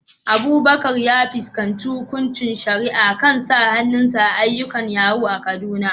Abubakar ya fuskanci hukuncin shari'a kan sa hannu a ayyukan yahoo a Kaduna.